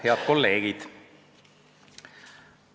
Head kolleegid!